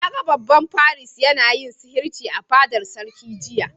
Na gan babban firist yana yin sihirci a'fadar sarki jiya.